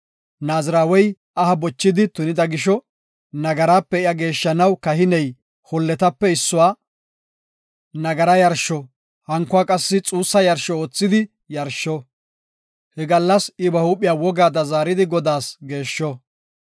Naazirawey aha bochidi tunida gisho nagarape iya geeshshanaw kahiney holletape issuwa nagara yarsho, hankuwa qassi xuussa yarsho oothidi yarsho. He gallas I ba huuphiya wogaada zaaridi Godaas geeshsho;